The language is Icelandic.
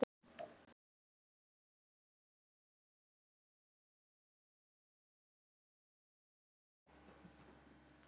Það er ekki flókið.